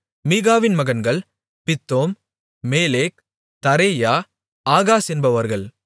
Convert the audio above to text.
மீகாவின் மகன்கள் Pithon Melech Tarea Ahaz என்பவர்கள்